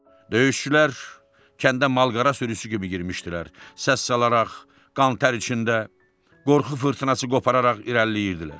Döyüşçülər kəndə mal-qara sürüsü kimi girmişdilər, səs salaraq, qan-tər içində, qorxu fırtınası qopararaq irəliləyirdilər.